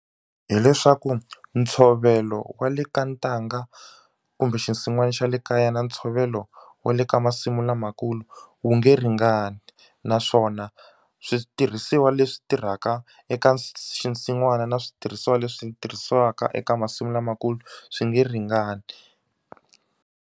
Hi leswaku ntshovelo wa le ka ntanga kumbe xinsin'wana xa le kaya na ntshovelo wa le ka masimu lamakulu wu nge ringani na naswona switirhisiwa leswi tirhaka eka xinsin'wana na switirhisiwa leswi tirhisiwaka eka masimu lamakulu swi nge ringani.